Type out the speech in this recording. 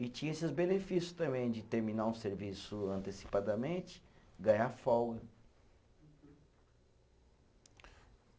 E tinha esses benefício também, de terminar um serviço antecipadamente, ganhar folga.